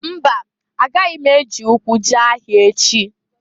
Mba! Agaghi m eji ụkwụ jee ahịa echi.